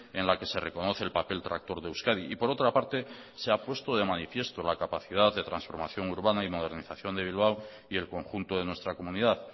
en la que se reconoce el papel tractor de euskadi y por otra parte se ha puesto de manifiesto la capacidad de transformación urbana y modernización de bilbao y el conjunto de nuestra comunidad